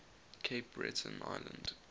cape breton island